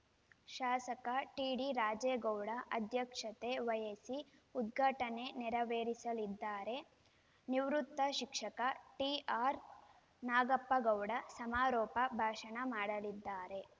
ಶಾಸಕ ಟಿಡಿ ರಾಜೇಗೌಡ ಅಧ್ಯಕ್ಷತೆ ವಹಿಸಿ ಉದ್ಘಾಟನೆ ನೆರವೇರಿಸಲಿದ್ದಾರೆ ನಿವೃತ್ತ ಶಿಕ್ಷಕ ಟಿಆರ್‌ ನಾಗಪ್ಪಗೌಡ ಸಮಾರೋಪ ಭಾಷಣ ಮಾಡಲಿದ್ದಾರೆ